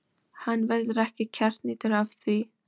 Hann verður ekki kjarnyrtur af því.